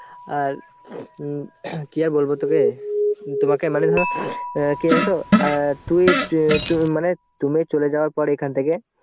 আর উম কি আর বলবো তোকে~ তোমাকে মানে ধরো কি জানো তো? অ্যাঁ তুই চ~ মানে তুমি চলে যাওয়ার পর এখান থেকে